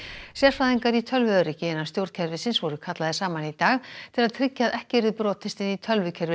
sérfræðingar í tölvuöryggi innan stjórnkerfisins voru kallaðir saman í dag til að tryggja að ekki yrði brotist inn í tölvukerfi